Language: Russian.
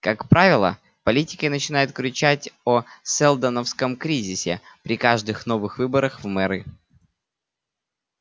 как правило политики начинают кричать о сэлдоновском кризисе при каждых новых выборах в мэры